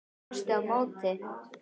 Hún brosti á móti.